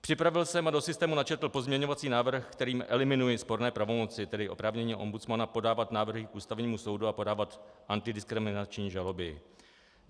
Připravil jsem a do systému načetl pozměňovací návrh, kterým eliminuji sporné pravomoci, tedy oprávnění ombudsmana podávat návrhy k Ústavnímu soudu a podávat antidiskriminační žaloby.